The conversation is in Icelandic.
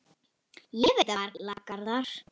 Ég veit það varla, Garðar.